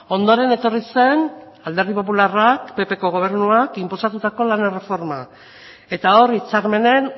ondoren etorri zen alderdi popularrak ppko gobernuak inposatutako lan erreforma eta hor hitzarmenen